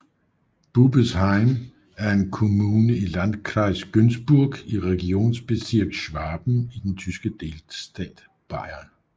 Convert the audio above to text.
Bubesheim er en kommune i Landkreis Günzburg i Regierungsbezirk Schwaben i den tyske delstat Bayern